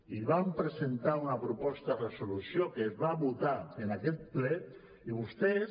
i vam presentar una proposta de resolució que es va votar en aquest ple i vostès